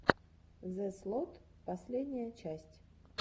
зэслот последняя часть